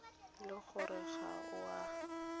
le gore ga o a